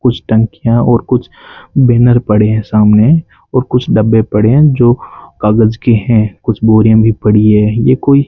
कुछ टंकियां और कुछ बैनर पड़े हैं सामने और कुछ डब्बे पड़े है जो कागज के हैं कुछ बोरियां भी पड़ी हैं ये कोई --